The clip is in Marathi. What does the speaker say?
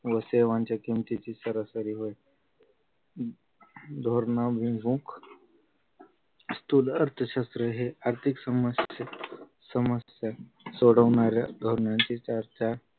व सेवांच्या किमतीची सरासरी वय धोरणा विमुख स्थूल अर्थशास्त्र हे आर्थिक समस्या समस्या सोडवणाऱ्या धोरणाची चार चार